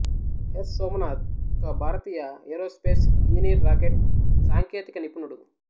yes Somanath ఒక భారతీయ aerospace engineer rocket సాంకేతిక నిపుణుడు